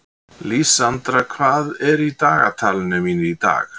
Lísandra, hvað er á dagatalinu mínu í dag?